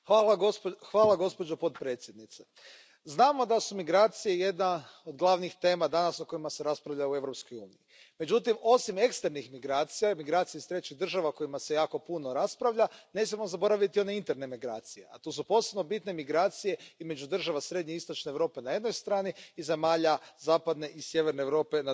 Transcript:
Poštovana predsjedavajuća, znamo da su migracije jedna od glavnih tema danas o kojima se raspravlja u Europskoj uniji. Međutim, osim eksternih migracija i migracija iz trećih država o kojima se jako puno raspravlja, ne smijemo zaboraviti i one interne migracije, a to su posebno bitne migracije između država srednje i istočne Europe na jednoj strani i zemalja zapadne i sjeverne Europe na drugoj strani.